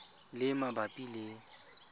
le e e mabapi le